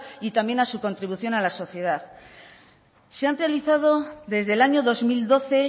y también a su contribución a la sociedad se han realizado desde el año dos mil doce